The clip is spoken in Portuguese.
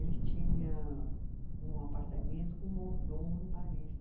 Ele tinha um apartamento com um mordomo em Paris.